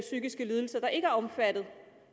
psykiske lidelser der ikke er omfattet